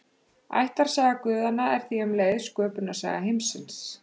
Ættarsaga guðanna er því um leið sköpunarsaga heimsins.